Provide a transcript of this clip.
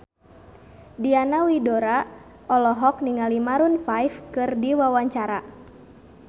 Diana Widoera olohok ningali Maroon 5 keur diwawancara